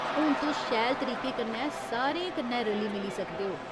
हून तुस शैल तरीके कन्नै सारें कन्नै रली मिली सकदे ओ।